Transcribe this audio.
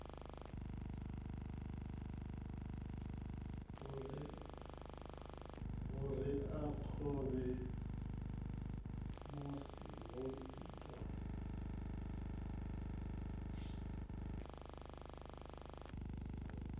vhureakhovhe musi ho itwa khuwelelo